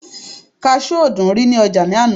kasú ò dúnrí ní ọjà náà